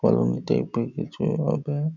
Colony type এর কিছু হবে।